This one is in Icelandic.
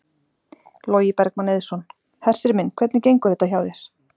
Logi Bergmann Eiðsson: Hersir minn, hvernig gengur þetta hjá þér?